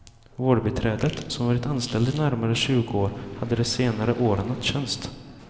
Vårdbiträdet, som varit anställd i närmare tjugo år, hade de senare åren nattjänst.